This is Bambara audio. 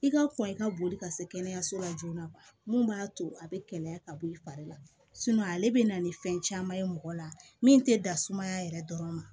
I ka kɔn i ka boli ka se kɛnɛyaso la joona mun b'a to a bɛ kɛnɛya ka bɔ i fari la ale bɛ na ni fɛn caman ye mɔgɔ la min tɛ dan sumaya yɛrɛ dɔrɔn ma